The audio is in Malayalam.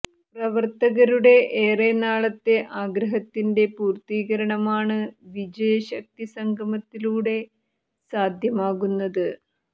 പ്രവര്ത്തകരുടെ ഏറെ നാളത്തെ ആഗ്രഹത്തിന്റെ പൂര്ത്തീകരണമാണ് വിജയശക്തി സംഗമത്തിലൂടെ സാധ്യമാകുന്നത്